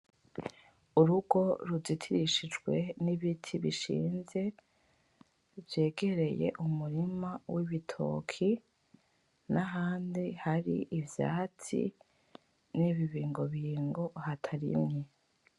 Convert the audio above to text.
Urugo ruzitirishijwe nibiti bishinze, vyegereye umurima w'ibitoke nahandi hari ivyatsi n'ibibingobingo hatarimye .